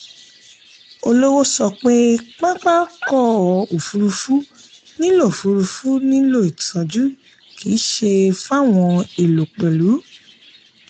olówó sọ pé pápá ọkọ̀ òfurufú nílò òfurufú nílò ìtọ́jú kì í ṣe fawọn èlò pẹ̀lú.